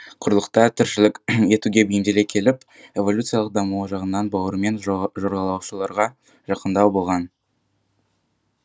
құрлықта тіршілік етуге бейімделе келіп эволюциялық дамуы жағынан бауырымен жорғалаушыларға жақындау болған